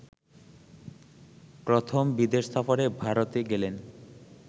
প্রথম বিদেশ সফরে ভারতে গেলেন